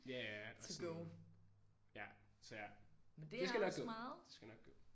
Ja ja og sådan ja så ja. Det skal nok gå. Det skal nok gå